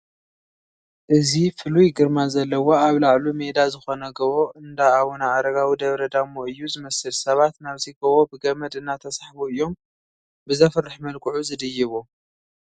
እዚ ፍሉይ ግርማ ዘለዎ ኣብ ላዕሉ ሜዳ ዝኾነ ጐቦ እንዳ ኣቡነ ኣረጋዊ ደብረ ዳሞ እዩ ዝመስል፡፡ ሰባት ናብዚ ጐቦ ብገመድ እናተሳሕቡ እዮም ብዘፍርሕ መልክዑ ዝድይቡ፡፡